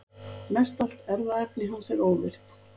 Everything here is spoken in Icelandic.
Mestallt erfðaefni hans er óvirkt.